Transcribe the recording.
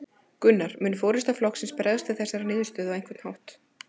Gunnar: Mun forysta flokksins bregðast við þessari niðurstöðu á einhvern hátt?